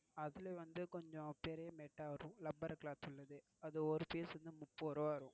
அதுல வந்து கொஞ்சம் பெரிய mat ஆஹ் வரும். rubber cloth உள்ளது அது ஒரு piece வந்து முப்பது ரூபா வரும்.